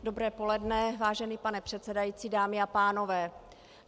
Dobré poledne, vážený pane předsedající, dámy a pánové.